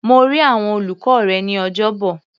Mo rí àwọn olùkọ́ rẹ ní Ọjọ́bọ̀.